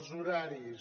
els horaris